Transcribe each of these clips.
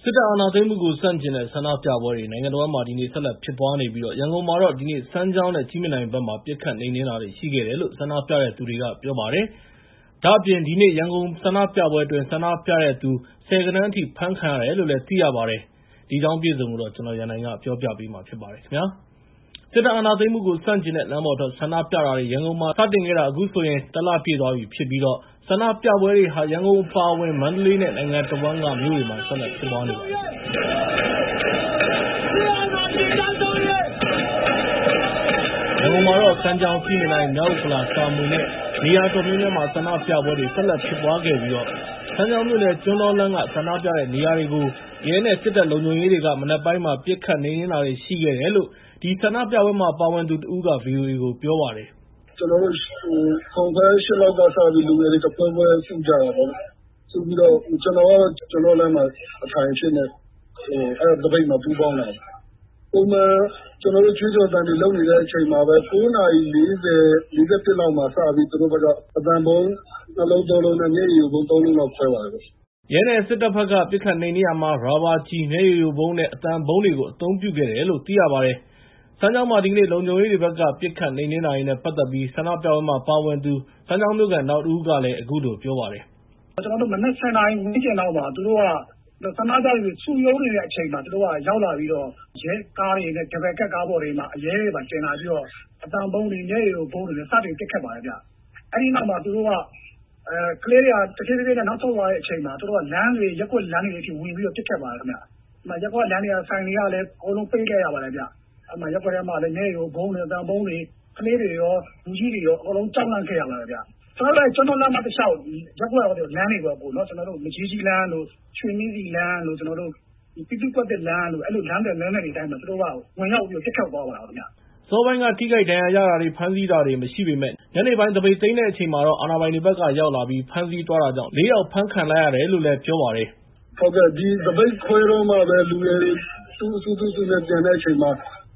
စစ်အာဏာသိမ်းမှုကိုဆန့်ကျင်တဲ့ ဆန္ဒပြပွဲတွေ နိုင်ငံတဝန်းမှာ ဆက်လက်ဖြစ်ပွားနေပြီး ရန်ကုန်မှာတော့ ဒီနေ့ စမ်းချောင်းနဲ့ ကြည့်မြင်တိုင်ဘက်မှာ ပစ်ခတ်နှိမ်နှင်းတာတွေ ရှိခဲ့တယ်လို့ ဆန္ဒပြတဲ့သူတွေက ပြောပါတယ်။ ဒါ့အပြင် ဒီနေ့ ရန်ကုန်ဆန္ဒပြပွဲအတွင်း ဆန္ဒပြတဲ့သူ ဆယ်ဂဏန်းအထိ အဖမ်းခံရတယ်လို့လည်း သိရပါတယ်။ ဒီအကြောင်းအပြည့်အစုံကို ကိုရန်နိုင်က ပြောပြပေးမှာဖြစ်ပါတယ်။ စစ်အာဏာသိမ်းမှုကိုဆန့်ကျင်တဲ့ လမ်းပေါ်ထွက်ဆန္ဒပြပွဲတွေ ရန်ကုန်မှာစတင်ခဲ့တာ အခုဆိုရင် ၁ လ ပြည့်သွားပြီဖြစ်ပြီး ဆန္ဒပြပွဲတွေဟာ ရန်ကုန်အပါအဝင် မန္တလေးနဲ့ နိုင်ငံတဝန်းကမြို့တွေမှာ ဆက်လက်ဖြစ်ပွားနေပါတယ်။ ရန်ကုန်မြို့မှာတော့ စမ်းချောင်း၊ ကြည့်မြင်တိုင်၊ မြောက်ဥက္ကလာ၊ တာမွေနဲ့ နေရာအတော်များများမှာ ဆန္ဒပြပွဲတွေ ဆက်လက် ဖြစ်ပွားခဲ့ပြီး စမ်းချောင်းမြိ့နယ် ကျွန်းတောလမ်းက ဆန္ဒပြတဲ့နေရာကိုတော့ ရဲနဲ့ စစ်တပ်လုံခြုံရေးတွေက မနက်ပိုင်းမှာ ပစ်ခတ်နှိမ်နှင်တာတွေရှိခဲ့တယ်လို့ အဲဒီ ဆန္ဒပြပွဲမှာပါဝင်သူတဦးက ဗီအိုအေကို ပြောပါတယ်။ “ကျနော်တို့ ၇ နာရီခွဲ ၈ နာရီ လောက်မှာ လူငယ်တွေတဖွဲဖွဲစုကြပါတယ်။ စုပြီးတော့ ကျနော်ကတော့ ကျွန်းတောလမ်းမှာ အထိုင်အဖြစ်နဲ့ အဲဒီသပိတ်မှာ ပူးပေါင်းပါတယ်။ ပုံမှန်ကျနော်တို့ ကြွေးကြော်သံတွေလုပ်နေတဲ့အချိန်မှာပဲ ၉ နာရီ ၄၀ လောက်မှာ စပြီး သူတို့ဘက်က အသံဗုံး ၂ လုံး ၃ လုံး နဲ့ မျက်ရည်ယိုဗုံး ၃ လုံးလောက်ခွဲပါတယ်။” ရဲနဲ့စစ်တပ်ဘက်က ပစ်ခတ်နှိမ်နင်းရာမှာ ရာဘာကျည်၊ မျက်ရည်ယိုဗုံးနဲ့ အသံဗုံးတွေကို အသုံးပြုခဲ့တယ်လို့ သိရပါတယ်။ စမ်းချောင်းမှာ ဒီကနေ့ လုံခြုံရေးတွေဘက်က ပစ်ခတ်နှိမ်နှင်းတာတွေနဲ့ပတ်သက်ပြီး ဆန္ဒပြပွဲတွေမှာပါဝင်တဲ့ စမ်းချောင်းမြို့ခံ နောက်တဦးကလည်း အခုလို ပြောပါတယ်။ “ကျနော်မနက် ၁၀ နာရီဝန်းကျင်လောက် ဆန္ဒပြတဲ့သူတွေ စုရုံးနေတဲ့အချိန်လောက်မှာ သူတို့က ရောက်လာပြီးတော့ ရဲကားတွေ၊ ဒယ်ဘယ်ကပ်ကားတွေပေါ်မှာ ရဲတွေတင်လာပြီးတော့ အသံဗုံးတွေ၊ မျက်ရည်ယိုဗုံးတွေနဲ့ စတင်ပစ်ခတ်ပါတယ်။ အဲဒီနောက် သူတို့က ကလေးတွေက တဖြည်းဖြည်းနဲ့ နောက်ဆုတ်လာတဲ့အချိန်မှာ လမ်းတွေ၊ ရပ်ကွက်လမ်းတွေထဲကို ဝင်ပြီးတော့ ပစ်ခတ်ပါတယ်ခင်ဗျ။ အဲဒီမှာ ရပ်ကွက်လမ်းတွေ၊ ဆိုင်တွေလည်း ပိတ်လိုက်ရပါတယ်။ ရပ်ကွက်ထဲမှာလည်း မျက်ရည်ယိုဗုံးတွေ၊ အသံဗုံးတွေ၊ ကလေးတွေရော လူကြီးတွေရော အကုန်လုံးကြောက်လန့်ခဲ့ရပါတယ်ခင်ဗျာ။ ကျနော်တို့ ကျွန်းတောလမ်းမ တလျှောက် ရပ်ကွက်လမ်းတွေပေါ့၊ မကြီးကြီးလမ်း၊ ရွှေနှင်းဆီလမ်း၊ ပြည်သူ့ကွက်သစ်လမ်းတို့ စတဲ့ လမ်းသွယ်တွေ လမ်းသွယ်တွေတိုင်းမှာ သူတို့ကဝင်ပြီးတော့ ပစ်ခတ်သွားတယ်။” အစောပိုင်းမှာ ထိခိုက်ဒဏ်ရာရတာတွေ ၊ ဖမ်းဆီးတာတွေမရှိပေမယ့် ညနေပိုင်းမှာ သပိတ်သိမ်းတဲ့အချိန်မှာတော့ အာဏာပိုင်တွေဘက်က ဖမ်းဆီးရောက်လာပြီး ဖမ်းဆီးသွားတာကြောင့် ၄ ယောက်လောက် ဖမ်းဆီးခံလိုက်ရတယ်လို့ ပြောပါတယ်။ “သပိတ်ခွဲတော့မှပဲ လူငယ်တွေ သူ့အစု သူ့အစုနဲ့ သူပြန်တဲ့အချိန်မှာ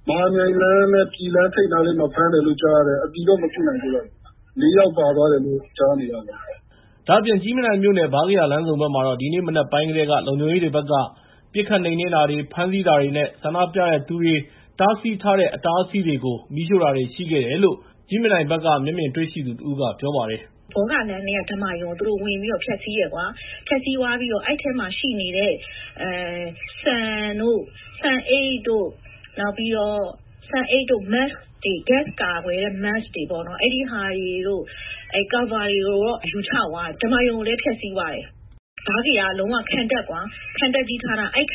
မဟာမြိုင်လမ်းနဲ့ ပြည်လမ်းထိပ်မှာ ဖမ်းတယ် လို့ ကြားရတယ်။ အတည်တော့ မပြုနိုင်သေးပါဘူး ၊ ၄ ယောက်လောက် ဖမ်းခံထားရတယ်လို့ ကြားပါတယ်။” ဒါ့အပြင် ကြည့်မြင်တိုင်မြို့နယ် ဗားကရာလမ်းဆုံဘက်မှာတော့ ဒီနေ့ မနက်ပိုင်းကတည်းက လုံခြုံရေးတွေဘက်က ပစ်ခတ်နှိမ်နှင်းတာတွေ၊ ဖမ်းဆီးတာတွေ နဲ့ ဆန္ဒပြတဲ့သူတွေဘက်က တားဆီးထားတဲ့ အတားအဆီးတွေကို မီးရှို့ တာတွေလည်း ရှိခဲ့တယ်လို့ ကြည့်မြင်တိုင်မြို့နယ်က မျက်မြင်တွေ့ရှိသူတဦးက ပြောပါတယ်။ “ဘောဂလမ်းထဲက ဓမ္မာရုံကို သူတို့ ဝင်ပြီးတော့ ဖျက်ဆီးတယ်။ ဖျက်ဆီးသွားပြီးတော့ အဲဒီထဲမှာ ရှိနေတဲ့ ဆန်၊ ဆန်အိတ်၊ နှာခေါင်းစည်း တွေ၊ ဂတ်စ်ကာကွယ်တဲ့ Mask တွေ နဲ့ ကာဗာတွေကို ယူချသွားတယ်။ ဓမ္မာရုံ ကိုလည်း ဖျက်ဆီးသွားတယ်။ ဗားကရာက လုံးဝခံတပ်ကွာ၊ ခံတပ်ကြီးလုပ်ထားတာ။ အဲဒ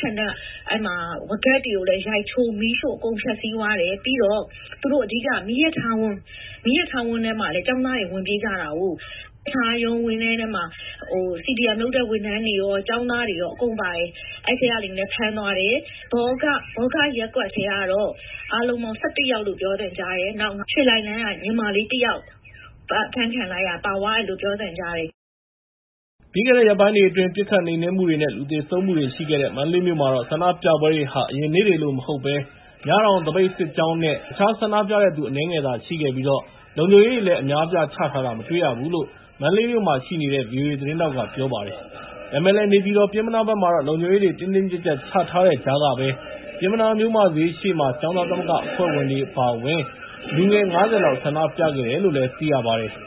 ီခံတပ်က ဝါးကပ်တွေကိုလည်း ရိုက်ချိုး၊ မီးရှို့အကုန်ဖျက်ဆီးသွားတယ်။ ပြီးတော့ သူတို့က အဓိက မီးရထားဝင်း၊ မီးရထားဝင်းထဲကို ကျောင်းသားတွေ ဝင်ပြေးသွားကြတာကိုး။ မီးရထားဝင်းထဲမှာ ကျောင်းသားတွေရော CDM လုပ်တဲ့ ဝန်ထမ်းတွေရော အကုန်ပါတယ်။ အဲဒီထဲကလူတွေလည်း ဖမ်းသွားတယ်။ ဘောဂရပ်ကွက်ထဲကတော့ အားလုံးပေါင်း ၁၁ ယောက်လို့ ပြောသံကြားတယ်။ နောက် ရွှေလှိုင်လမ်းက ညီမလေးတယောက်ပါသွားတယ်လို့ ပြောသံကြားပါတယ်။” ပြီးခဲ့တဲ့ရက်ပိုင်းတွေအတွင်း ပစ်ခတ်နှိမ်နှင်းမှုတွေ နဲ့ လူသေဆုံးမှုတွေရှိခဲ့တဲ့ မန္တလေးမြို့မှာတော့ ဆန္ဒပြပွဲတွေဟာ အရင်နေ့တွေကလို မဟုတ်ဘဲ ၊ မြတောင် သပိတ်စစ်ကြောင်းနဲ့ အနည်းငယ်သာရှိခဲ့ပြီး၊ လုံခြုံရေးတွေလည်း အများအပြားချထားတာ မတွေ့ရဘူးလို့ မန္တလေးမြို့မှာရှိနေတဲ့ ဗီအိုအေသတင်းထောက်က ပြောပါတယ်။ ဒါပေမဲ့လည်း နေပြည်တော်နဲ့ပျဉ်းမနားဘက်မှာတော့ လုံခြုံရေးတွေ တင်းတင်းကြပ်ကြပ်ချထားတဲ့ကြားကပဲ ပျဉ်းမနားမြို့မဈေးရှေ့မှာ ကျောင်းသားသမဂ္ဂအဖွဲ့ဝင်တွေ လူငယ် ၅၀ လောက် ဆန္ဒပြခဲ့ကြတယ်လို့ သိရပါတယ်။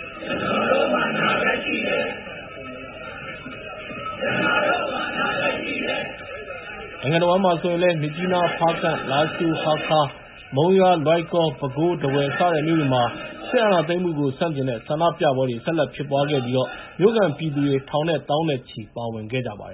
နိုင်ငံတဝန်းမှာဆိုရင်လည်း မြစ်ကြီးနား၊ ဖားကန့်၊ လားရှိုး၊ ဟားခါး၊ မုံရွာ၊ လွိုင်ကော်၊ ပဲခူး၊ ထားဝယ်စတဲ့မြို့တွေမှာလည်း စစ်အာဏာသိမ်မှုကို ဆန့်ကျင်တဲ့ဆန္ဒပြပွဲတွေ ဆက်လက်ဖြစ်ပွားခဲ့ပြီး မြို့ခံပြည်သူတွေ ထောင်နဲ့သောင်းနဲ့ချီပြီပါဝင်ခဲ့ကြပါတယ်